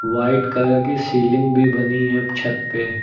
White colour की ceiling भी बनी है छत पे।